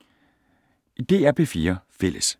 DR P4 Fælles